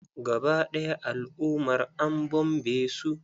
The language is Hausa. Gaba ɗaya al'ummar an bombe su.